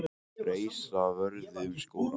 Reisa vörðu um skólastarf